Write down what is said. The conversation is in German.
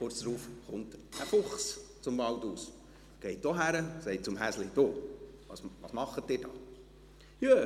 Kurz darauf kam ein Fuchs aus dem Wald, ging auch hin und sagte zum Häschen: «Du, was macht ihr da?».